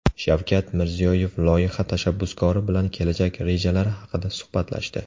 Shavkat Mirziyoyev loyiha tashabbuskori bilan kelajak rejalari haqida suhbatlashdi.